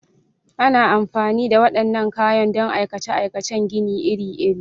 Ana amfani da waɗannan kayan don aikace-aikacen gini iri-iri.